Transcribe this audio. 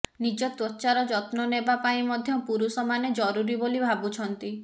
ନିଜ ତ୍ୱଚାର ଯତ୍ନ ନେବା ପାଇଁ ମଧ୍ୟ ପୁରୁଷମାନେ ଜରୁରୀ ବୋଲି ଭାବୁଛନ୍ତି